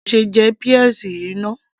ìwọ kò ṣe jẹ peas yìí náà